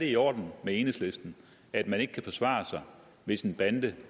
i orden med enhedslisten at man ikke kan forsvare sig hvis en bande